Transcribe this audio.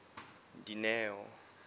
dineo